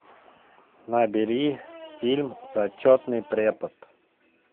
набери фильм зачетный препод